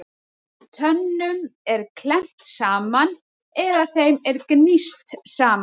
Tönnum er klemmt saman eða þeim er gníst saman.